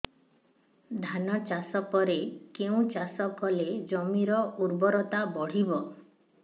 ଧାନ ଚାଷ ପରେ କେଉଁ ଚାଷ କଲେ ଜମିର ଉର୍ବରତା ବଢିବ